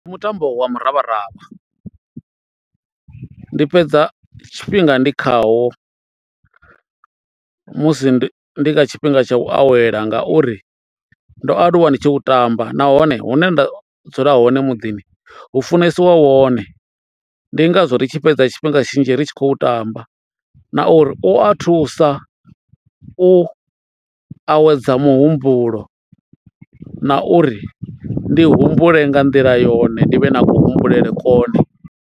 Ndi mutambo wa muravharavha. Ndi fhedza tshifhinga ndi khawo musi ndi kha tshifhinga tsha u awela ngauri ndo aluwa ndi tshi u tamba nahone hune nda dzula hone muḓini hu funesiwa wone ndi ngazwo ri tshi fhedza tshifhinga tshinzhi ri tshi khou tamba na uri u a thusa u awedza muhumbulo na uri ndi humbule nga nḓila yone ndi vhe na ku humbulele kone.